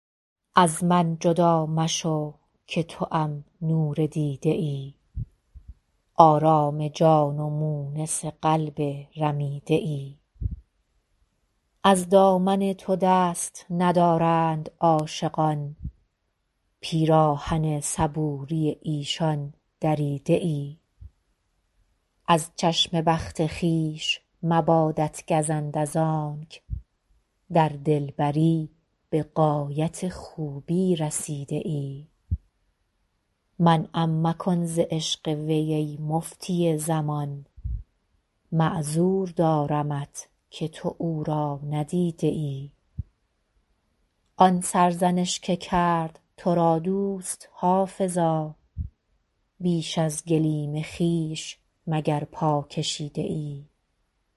از من جدا مشو که توام نور دیده ای آرام جان و مونس قلب رمیده ای از دامن تو دست ندارند عاشقان پیراهن صبوری ایشان دریده ای از چشم بخت خویش مبادت گزند از آنک در دلبری به غایت خوبی رسیده ای منعم مکن ز عشق وی ای مفتی زمان معذور دارمت که تو او را ندیده ای آن سرزنش که کرد تو را دوست حافظا بیش از گلیم خویش مگر پا کشیده ای